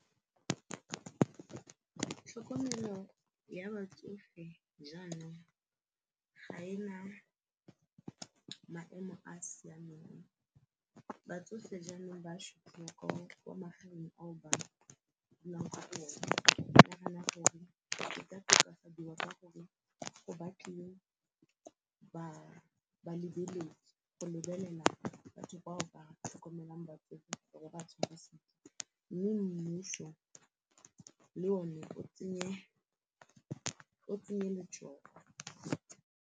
Tlhokomelo ya batsofe jaanong ga ena maemo a a siameng batsofe jaanong ba sotliwa ko kwa magaeng aba dulang kwa go one ke nagana gore e ka tokafadiwa ka gore go batliwe balebeledi go lebelela batho bao o ba tlhokomelang batsofe ba tshware sentle mme mmuso le o ne o tsenye letsogo.